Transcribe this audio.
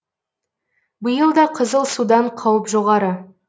биыл да қызыл судан қауіп жоғары